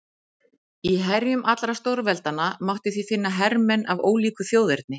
Í herjum allra stórveldanna mátti því finna hermenn af ólíku þjóðerni.